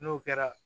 N'o kɛra